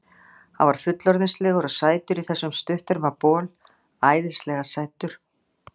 Hann var fullorðinslegur og sætur í þessum stutterma bol, æðislega sætur.